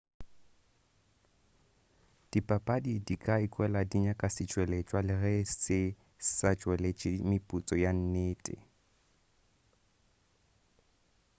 dibapadi di ka ikwela di nyaka setšweletšwa le ge se sa tšweletši meputso ya nnete